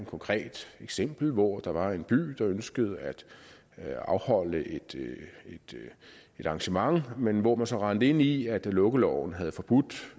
konkret eksempel hvor der var en by der ønskede at at afholde et arrangement men hvor man så rendte ind i at lukkeloven havde forbudt